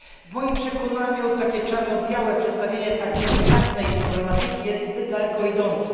W moim przekonaniu takie czarno białe przedstawienie tak delikatnej problematyki jest zbyt daleko idące.